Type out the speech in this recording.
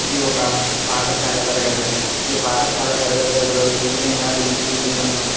ఇది ఒక పాటశాల తరగతి గది. ఈ పాటశాల తరగతి గదిలో ఈ విధంగా బెంచీలు ను--